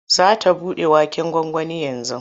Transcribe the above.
Za ta buɗe waken gwangwanin yanzu.